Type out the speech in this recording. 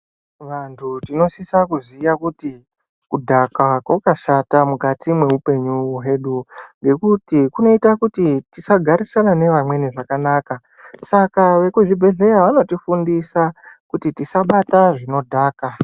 Vantu tinosisa kuziya kuti kudhakwa kwakashata mukati mweupenyu hwedu ngekuti kunoita kuti tisagarisana nevamweni zvakanaka, saka vekuzvibhedhleya vanotifundisa kuti tisabata zvinodhaka.